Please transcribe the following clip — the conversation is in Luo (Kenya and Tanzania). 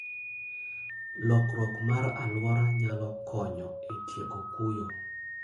Lokruok mar alwora nyalo konyo e tieko kuyo.